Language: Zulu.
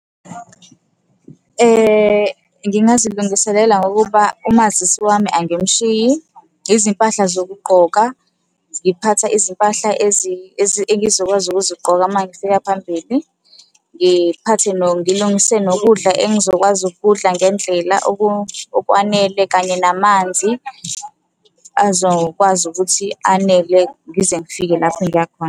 Ngingazilungiselela ngokuba umazisi wami angimushiyi, izimpahla zokugqoka, ngiphatha izimpahla engizokwazi ukuzigqoka uma nifika phambili. Ngiphathe ngilungise nokudla engizokwazi ukukudla ngendlela okwanele, kanye namanzi azokwazi ukuthi anele ngize ngifike lapho engiya khona.